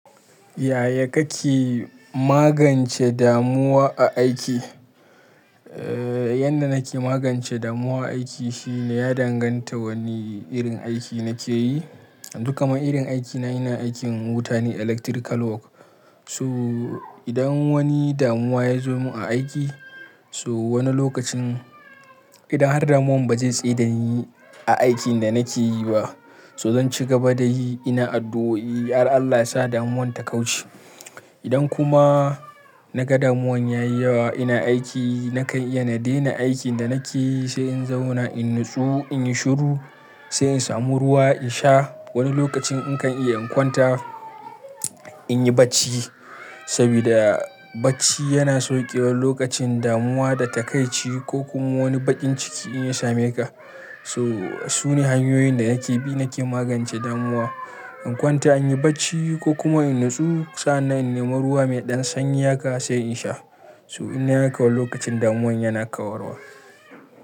Yaya kake magance damuwa a aiki? Eh, yadda nake magance damuwa a aiki shine ya danganta wane irin aiki nake yi. Duk kamar irin aikina, ina aikin wuta ne, electrical work. So idan wani damuwa ya zo mun a aiki, so wani lokacin idan har damuwan ba zai tsai da ni a aikin da nake yi ba, so zan ci gaba da yi ina addu'o'i, "gara Allah ya sa damuwan ta kauce." Idan kuma na ga damuwan ya yi yawa ina aiki, nakan iya na daina aikin da nake yi, sai in zauna in natsu, in yi shuru, sai in samu ruwa in sha. Wani lokacin in kan iya in kwanta, in yi bacci. So idan wani damuwa ya zo mun a aiki, so wani lokacin idan har damuwan ba zai tsai da ni a aikin da nake yi ba, so zan ci gaba da yi ina addu'o'i, "Allah ya sa damuwan ta kauce." to sune hanyoyin da ake bi nake magance damuwa in kwanta in yi bacci ko kuma in nutsu sannan in neme ruwa mai dan sanyi haka sai in sha So in nayi haka wani lokaci damuwar yana kawar wa.